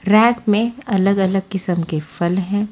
Rack में अलग अलग किस्म के फल हैं।